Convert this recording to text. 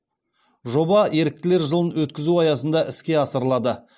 жоба еріктілер жылын өткізу аясында іске асырылады